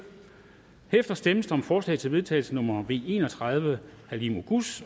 herefter stemmes der om forslag til vedtagelse nummer v en og tredive af halime oguz